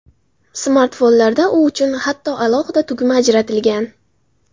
Smartfonlarda u uchun hatto alohida tugma ajratilgan!